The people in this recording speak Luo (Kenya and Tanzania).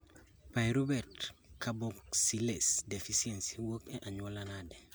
Pyruvate carboxylase deficiency wuok e anyuola nade